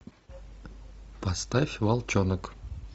поставь волчонок